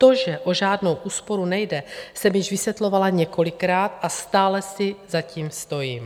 To, že o žádnou úsporu nejde, jsem již vysvětlovala několikrát a stále si za tím stojím.